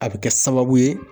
A be kɛ sababu ye